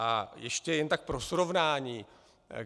A ještě jen tak pro srovnání.